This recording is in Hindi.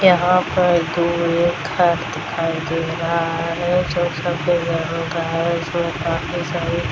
यहाँ पर दो ये घर दिखाई दे रहा है जो सफ़ेद रंग का है जो काफी सारी --